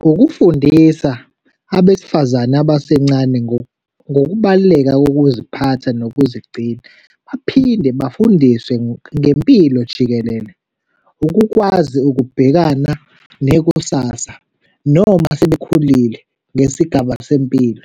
Ngokufundisa abesifazane abasencane ngokubaluleka kokuziphatha nokuzigcina, baphinde bafundiswe ngempilo jikelele, ukukwazi ukubhekana nekusasa, noma sebekhulile ngesigaba sempilo,